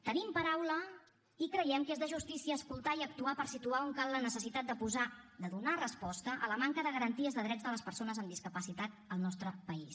tenim paraula i creiem que és de justícia escoltar i actuar per situar on cal la necessitat de donar resposta a la manca de garanties de drets de les persones amb discapacitat al nostre país